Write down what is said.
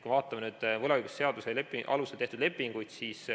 Vaatame võlaõigusseaduse alusel tehtud lepinguid.